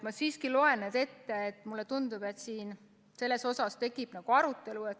Ma siiski loen need ette, sest mulle tundub, et selles suhtes tekib nagu arutelu.